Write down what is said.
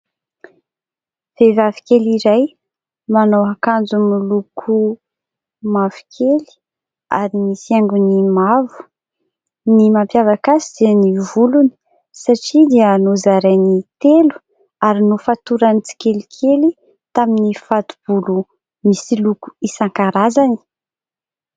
Vehivavy kely iray manao akanjo miloko mavokely ary misy haingony mavo. Ny mampiavaka azy dia ny volony satria dia nozarainy telo ary nofatorany tsikelikely tamin'ny fato-bolo misy loko isan-karazany.